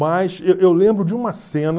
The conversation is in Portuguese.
Mas eu eu lembro de uma cena...